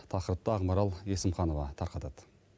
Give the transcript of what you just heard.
тақырыпты ақмарал есімханова тарқатады